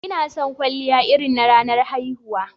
Ina son kwalliya irin na ranar haihuwa.